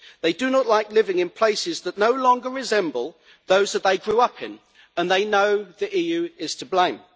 They do not like living in places that no longer resemble those they grew up in, and they know the EU is to blame.